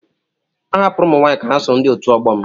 A hapụrụ ụmụ nwaanyị ka ha soro ndị otu ọgbọ m.